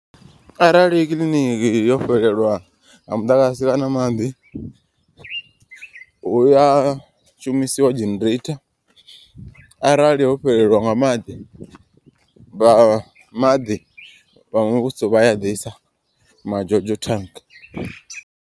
Arali kiḽiniki yo fhelelwa nga muḓagasi kana maḓi. Huya shumisiwa dzhenereitha arali ho fhelelwa nga maḓi vha maḓi vha muvhuso vhaya ḓisa ma jojo thannga.